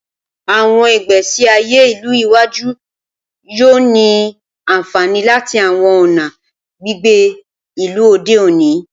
Awọn igbesi aye ilu iwaju yoo ni anfani lati awọn ọna gbigbe ilu ode oni.